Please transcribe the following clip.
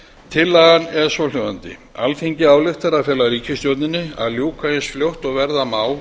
tillagan er svohljóðandi alþingi ályktar að fela ríkisstjórninni að ljúka eins fljótt og verða má